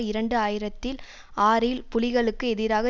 இரண்டு ஆயிரத்தில் ஆறில் புலிகளுக்கு எதிராக